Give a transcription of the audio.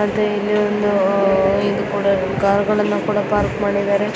ಮತ್ತೆ ಇಲ್ಲಿ ಒಂದು ಅಹ್ ಇದ್ ಕೂಡ ಕಾರ್ ಗಳನ್ನ ಕೂಡಾ ಪಾರ್ಕ್ ಮಾಡಿದ್ದಾರೆ .